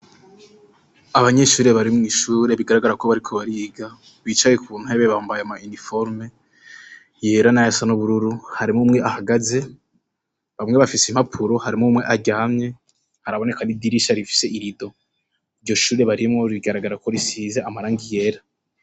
Abanyeshure bari mw'ishure bigaragara ko bariko bariga, bicaye ku ntebe bambaye ama iniforume yera na yasa n'ubururu, harimwo umwe ahagaze, bamwe bafise impapuro, harimwo umwe aryamye, haraboneka n'idirisha rifise irido, iryo shure barimwo rigaragara ko risize amarangi yera.